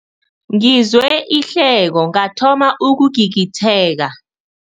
Ngizwe ihleko ngathoma ukugigitheka.